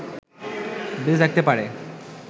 বেঁচে থাকতে পারে